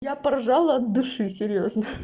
я поржала от души серьёзно